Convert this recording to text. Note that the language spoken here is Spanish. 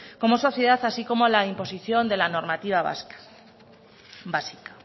como sociedad así como la imposición de la normativa básica